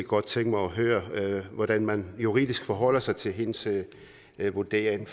godt tænke mig at høre hvordan man juridisk forholder sig til hendes vurdering